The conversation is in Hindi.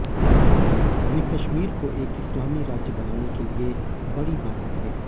वे कश्मीर को एक इस्लामी राज्य बनने के लिए बड़ी बाधा थे